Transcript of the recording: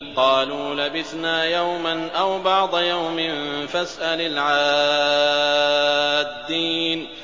قَالُوا لَبِثْنَا يَوْمًا أَوْ بَعْضَ يَوْمٍ فَاسْأَلِ الْعَادِّينَ